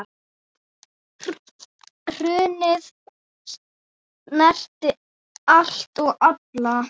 Hrunið snerti allt og alla.